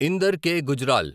Inder K. Gujral